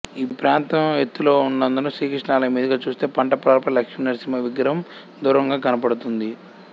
ఈ ప్రాంతం ఎత్తులో ఉన్నందున శ్రీకృష్ణాలయం మీదుగా చూస్తే పంట పొలాలపై లక్ష్మీ నరసింహ విగ్రహం దూరంగా కనబడుతుంది